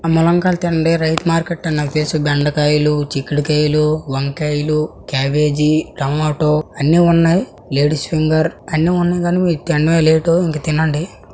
రైతు మార్కెట్ అని నాకు తెలుసు. బెండకాయలు చిక్కుడుకాయలు వంకాయలూ క్యాబేజీ టమాటో అన్ని ఉన్నాయి. లేడీస్ ఫింగర్ అన్ని ఉన్నయి కానీ మీరు తిండమే లేట్ ఇంక తినండి.